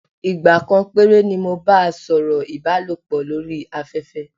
Ìgbà kan péré ni mo bá a sọ̀rọ̀ ìbálòpọ̀ lórí afẹ́fẹ́.